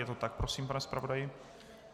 Je to tak prosím, pane zpravodaji?